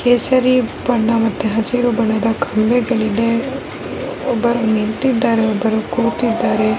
ಇಲ್ಲಿ ನಾನು ನೋಡುತ್ತಿರುವ ಒಂದು ಬಿಲ್ಡಿಂಗ್ ತರ ಕಾಣಿಸ್ತಾ ಇದೆ ಎಲ್ಲ ಜನಗಳು ಓಡಾಡ್ತಾ ಇದ್ದಾರೆ.